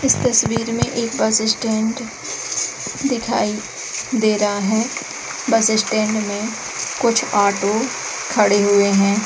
इस तस्वीर में एक बसस्टैंड दिखाई दे रहा है। बसस्टैंड में कुछ ऑटो खड़े हुए है।